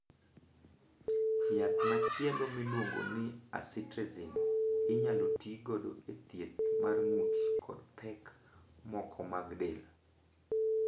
Yath machielo miluongo ni acitretin inyalo ti godo e thieth mar ng'ut kod pek moko mag del.